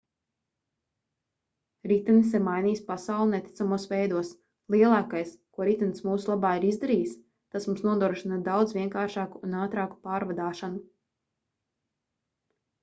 ritenis ir mainījis pasauli neticamos veidos lielākais ko ritenis mūsu labā ir izdarījis tas mums nodrošina daudz vienkāršāku un ātrāku pārvadāšanu